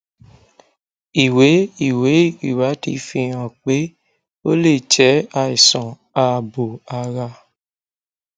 ìwé ìwé ìwádìí fi hàn pé ó lè jẹ àìsàn ààbò ara